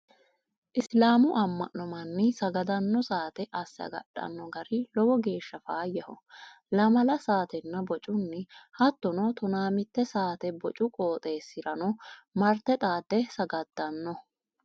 Isiliminu ama'no manni sagadano saate asse agadhano gari lowo geeshsha faayyaho lamalla saatenna bocunni hattono tona mite saate bocu qooxeesirano marte xaade sagadano.